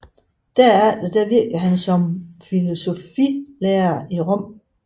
Derefter virkede han som filosofilærer i Rom